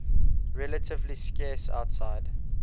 relatively scarce outside